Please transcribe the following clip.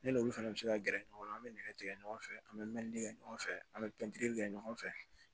Ne n'olu fana bɛ se ka gɛrɛ ɲɔgɔn na an bɛ nɛgɛ tigɛ ɲɔgɔn fɛ an bɛ mɛlikɛ kɛ ɲɔgɔn fɛ an bɛ kɛ ɲɔgɔn fɛ